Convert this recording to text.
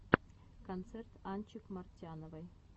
концерт анчик мартяновой